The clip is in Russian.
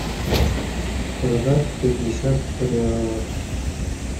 продать пятьдесят реалов